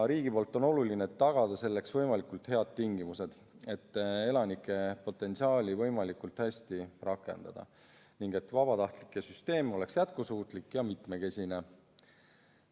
On oluline, et riik tagaks võimalikult head tingimused, selleks et elanike potentsiaali võimalikult hästi rakendada ning vabatahtlike süsteem oleks jätkusuutlik ja mitmekesine.